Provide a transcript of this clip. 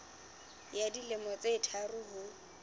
ya dilemo tse tharo ho